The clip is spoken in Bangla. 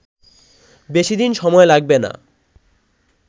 বেশিদিন সময় লাগবে না